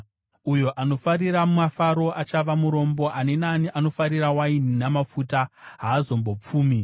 Uyo anofarira mafaro achava murombo; ani naani anofarira waini namafuta haazombopfumi.